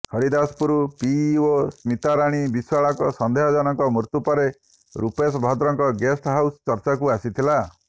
Haridaspur PEO Smitarani ବିଶ୍ୱାଳଙ୍କ ସନ୍ଦେହଜନକ ମୃତ୍ୟୁ ପରେ ରୂପେଶ ଭଦ୍ରଙ୍କ ଗେଷ୍ଟ ହାଉସ ଚର୍ଚ୍ଚାକୁ ଆସିଥିଲା